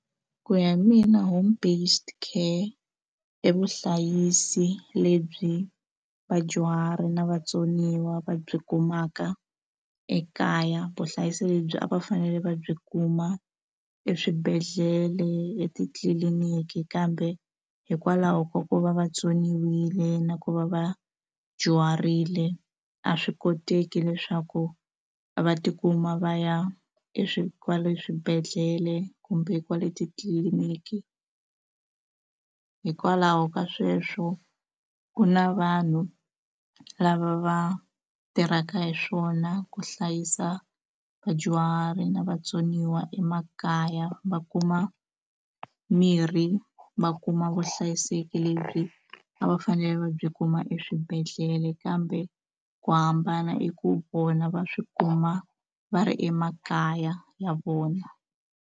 Ku ya hi mina home based care i vuhlayisi lebyi vadyuhari na vatsoniwa va byi kumaka ekaya vuhlayiseki lebyi a va fanele va byi kuma eswibedhlele etitliliniki kambe hikwalaho ka ku va vatsoniwile na ku va va dyuharile a swi koteki leswaku va tikuma va ya e swi kwale swibedhlele kumbe kwale titliliniki hikwalaho ka sweswo ku na vanhu lava va tirhaka hi swona ku hlayisa vadyuhari na vatsoniwa emakaya va kuma mirhi va kuma vuhlayiseki lebyi a va fanele va byi kuma eswibedhlele kambe ku hambana i ku vona va swi kuma va ri emakaya ya vona.